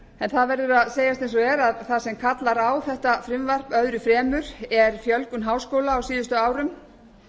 en það verður að segjast eins og er að það sem kallar á þetta frumvarp öðru fremur er fjölgun háskóla á síðustu árum